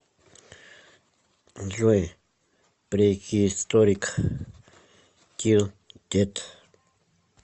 джой прехисторик тил дет